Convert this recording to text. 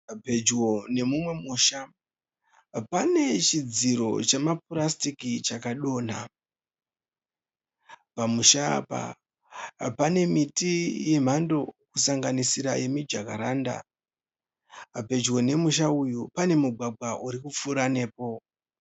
Pedyo nemumwe musha, pane chidziro chema purasitiki chaka donha. Pamusha apa pane miti yemhando kusanganisira yemi Jakaranda. Pedyo nemusha uyu pane mugwagwa uri kupfuura nepo.